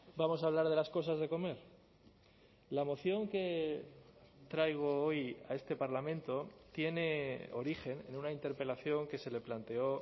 vamos a hablar de las cosas de comer la moción que traigo hoy a este parlamento tiene origen en una interpelación que se le planteó